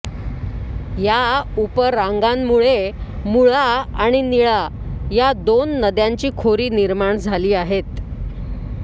ह्या उपरांगांमुळे मुळा आणि निळा ह्या दोन नद्यांची खोरी निर्माण झाली आहेत